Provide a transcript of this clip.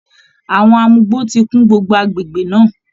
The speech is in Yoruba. Àwọn amugbó ti kún gbogbo agbègbè náà